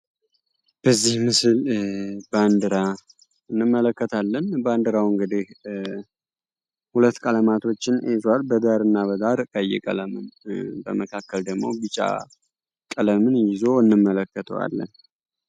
በዚህ ምስል ባንዲራ እንመለከታለን። ባንዲራው እንግዲህ ሁለት ቀለማቶችን ይዟል። በዳር እና በዳር ቀይ ቀለም በመካከል ደግሞ ቤጫ ቀለምን ይዞ እንመለከተዋለን።